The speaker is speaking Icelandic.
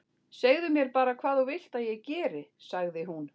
Segðu mér bara hvað þú vilt að ég geri- sagði hún.